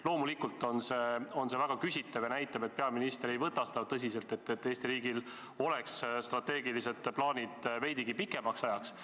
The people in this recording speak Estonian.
Loomulikult on see väga küsitav ja näitab, et peaminister ei võta tõsiselt, et Eesti riigil oleks strateegilised plaanid veidigi pikemaks ajaks.